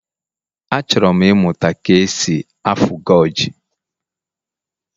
Achọrọ m ịmụta ka e si afu goge.